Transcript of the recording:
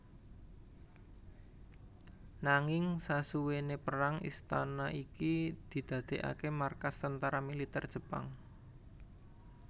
Nanging sasuwene perang istana iki didadekake markas tentara militer Jepang